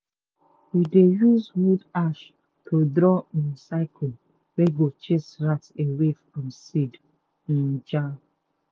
we dey use wood ashes to draw um circle wey go chase rat away from seed um jar.